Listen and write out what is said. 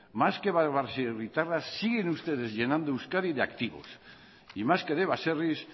más que baserritarras siguen ustedes llenando euskadi de activos y más que de baserris